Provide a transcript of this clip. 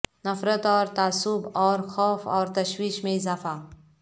نفرت اور تعصب اور خوف اور تشویش میں اضافہ